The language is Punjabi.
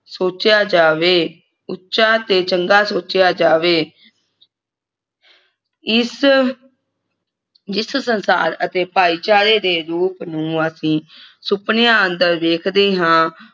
ਸੋਚਿਆ ਜਾਵੇ ਉੱਚਾ ਤੇ ਚੰਗਾ ਸੋਚਿਆ ਜਾਵੇ ਇਸ ਜਿਸ ਸੰਸਾਰ ਅਤੇ ਭਾਈਚਾਰੇ ਦੇ ਰੂਪ ਨੂੰ ਅਸੀਂ ਸੁਪਨਿਆਂ ਅੰਦਰ ਵੇਖਦੇ ਹਾਂ